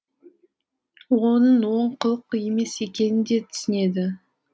оның оң қылық емес екенін де түсінеді